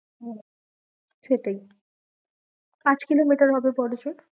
হম সেটাই পাঁচ কিলোমিটার হবে বড়ো জোর।